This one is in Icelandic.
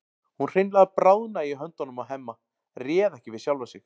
Hún hreinlega bráðnaði í höndunum á Hemma, réð ekki við sjálfa sig.